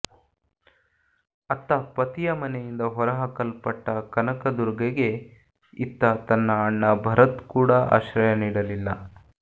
ಅತ್ತ ಪತಿಯ ಮನೆಯಿಂದ ಹೊರಹಾಕಲ್ಪಟ್ಟ ಕನಕದುರ್ಗಗೆ ಇತ್ತ ತನ್ನ ಅಣ್ಣ ಭರತ್ ಕೂಡ ಆಶ್ರಯ ನೀಡಲಿಲ್ಲ